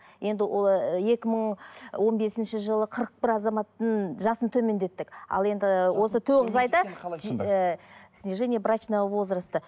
енді ы екі мың он бесінші жылы қырық бір азаматтың жасын төмендеттік ал енді осы тоғыз айда снижение брачного возроста